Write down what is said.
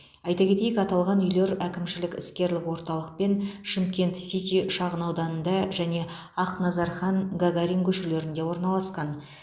айта кетейік аталған үйлер әкімшілік іскерлік орталық пен шымкент сити шағынауданында және ақназархан гагарин көшелерінде орналасқан